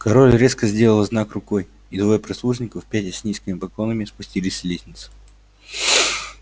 король резко сделал знак рукой и двое прислужников пятясь с низкими поклонами спустились с лестницы